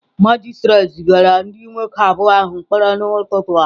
Magistrate zigara ndị nwoke abụọ ahụ mkpọrọ n'ụtụtụ taa.